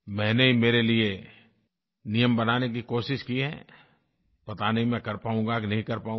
मैंने मेरे लिये नियम बनाने की कोशिश की है पता नहीं मैं कर पाऊँगा कि नहीं कर पाऊँगा